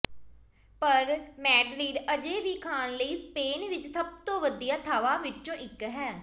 ਪਰ ਮੈਡਰਿਡ ਅਜੇ ਵੀ ਖਾਣ ਲਈ ਸਪੇਨ ਵਿੱਚ ਸਭ ਤੋਂ ਵਧੀਆ ਥਾਵਾਂ ਵਿੱਚੋਂ ਇਕ ਹੈ